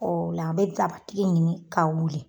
Ola a bɛ dabatigi ɲini ka wili.